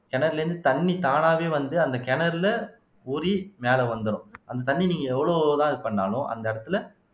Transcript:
கிணறுல இருந்து தண்ணி தானாவே வந்து அந்த கிணறுல ஊறி மேல வந்துரும் அந்த தண்ணி நீங்க எவ்வளவுதான் இது பண்ணாலும் அந்த இடத்துல